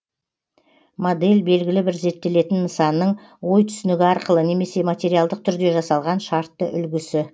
модель белгілі бір зерттелетін нысанның ой түсінігі арқылы немесе материалдық түрде жасалған шартты үлгісі